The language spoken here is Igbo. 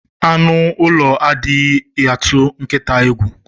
Anu ulo adighi atu nkita egwu.